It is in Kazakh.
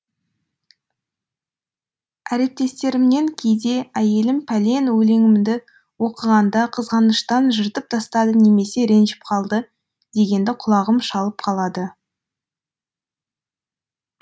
әріптестерімнен кейде әйелім пәлен өлеңімді оқығанда қызғаныштан жыртып тастады немесе ренжіп қалды дегенді құлағым шалып қалады